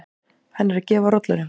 Hann er að gefa rollunum.